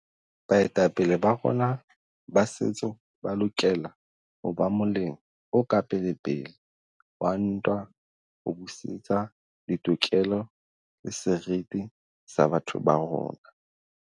"Baetapele ba rona ba setso ba lokela ho ba moleng o ka pelepele wa ntwa ho busetsa ditokelo le seriti sa batho ba rona."